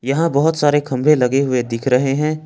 यहां बहोत सारे खंभे लगे हुए दिख रहे हैं।